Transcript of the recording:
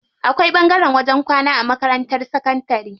Akwai ɓangaren wajen kwana a makarantar sakantari.